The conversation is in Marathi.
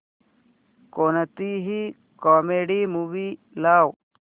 कोणतीही कॉमेडी मूवी लाव